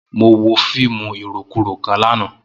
Mo wo fiimu irokuro kan lana.